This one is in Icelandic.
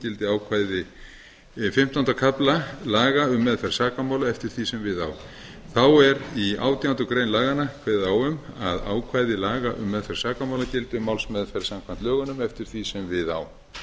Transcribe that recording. gildi ákvæði fimmtánda kafla laga um meðferð sakamála eftir því sem við á þá er í átjándu grein laganna kveðið á um að ákvæði laga um meðferð sakamála gildi um málsmeðferð samkvæmt lögunum eftir því sem við á